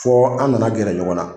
Fɔ an nana gɛrɛ ɲɔgɔn na.